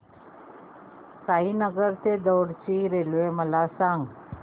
साईनगर ते दौंड ची रेल्वे मला सांग